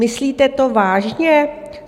Myslíte to vážně?